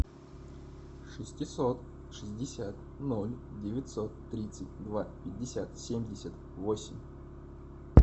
шестьсот шестьдесят ноль девятьсот тридцать два пятьдесят семьдесят восемь